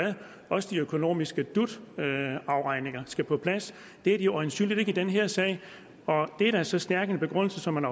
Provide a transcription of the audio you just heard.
også de økonomiske dut afregninger skal være på plads det er de øjensynligt ikke i den her sag og det er da så stærk en begrundelse som man